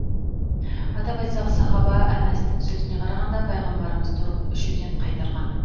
атап айтсақ сахаба әнәстың сөзіне қарағанда пайғамбарымыз тұрып ішуден қайтарған